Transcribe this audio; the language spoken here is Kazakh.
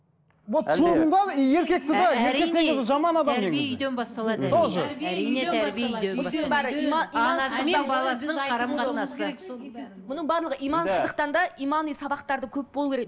мұның бәрі имансыздықтан да имани сабақтар да көп болуы керек